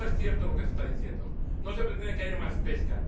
No es cierto lo que se está diciendo. No se pretende que haya más pesca.